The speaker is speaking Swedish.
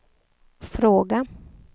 fråga